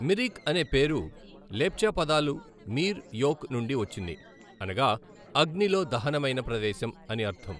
మిరిక్ అనే పేరు లెప్చా పదాలు మీర్ యోక్ నుండి వచ్చింది, అనగా అగ్నిలో దహనమైన ప్రదేశం అని అర్ధం.